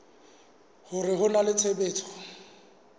hore ho na le tshebetso